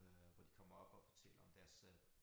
Øh hvor de kommer op og fortæller om deres øh